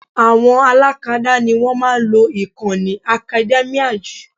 Àwọn alákadá ni wọ́n máa ń lo ìkànnì academia jù